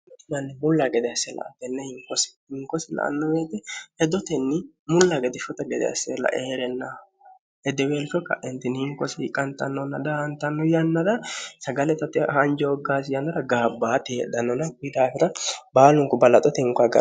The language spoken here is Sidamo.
manni mulla gede hasseelaa tenne hinkosi hinkosi la anno meete hedotenni mulla gede shota gede assela e heerennaho edeweelsho ka'intinni hinkosi qantannonna daantanno yannara sagale tote hanjooggaasi yannara gaabbaati heedhannonaki daafira baalunku ballaxo te inqo agano